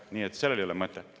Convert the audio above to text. Nii et sellel ei ole mõtet.